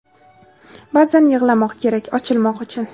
Ba’zan yig‘lamoq kerak, ochilmoq uchun.